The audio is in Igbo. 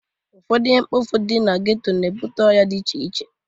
Ụfọdụ ihe mkpofu dị na geto na-ebute ọya dị iche iche.